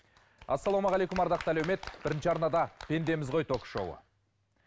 ассалаумағалейкум ардақты әлеумет бірінші арнада пендеміз ғой ток шоуы